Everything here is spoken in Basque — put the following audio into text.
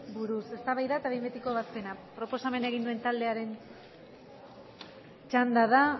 buruz eztabaida eta behin betiko ebazpena proposamena egin duen taldearen txanda da